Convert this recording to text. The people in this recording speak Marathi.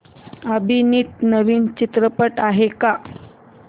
अभिनीत नवीन चित्रपट आहे का